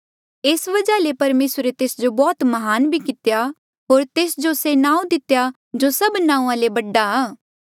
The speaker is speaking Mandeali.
एस वजहा ले परमेसरे तेस जो बौह्त म्हान भी कितेया होर तेस जो से नांऊँ दितेया जो सभ नांऊँआं ले गास आ